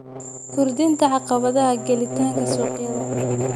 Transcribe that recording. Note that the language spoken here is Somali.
Kordhinta caqabadaha gelitaanka suuqyada.